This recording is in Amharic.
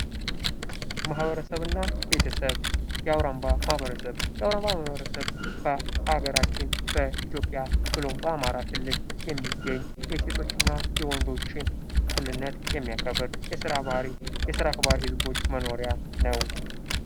ማበረሰብና ቤተሰብ የአውራምባ ማህበረሰብ፤ የአውራምባ ማህበረሰብ በአገራችን በኢትዮጵያ ብሎ በአማራ ክልል የሚገኝ የሴቶችና የወንዶችን እኩልነት የሚያከብር የስራ አክባህሪ ህዝቦች መኖርያ ነው።